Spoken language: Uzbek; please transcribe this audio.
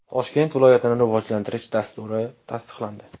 Toshkent viloyatini rivojlantirish dasturi tasdiqlandi .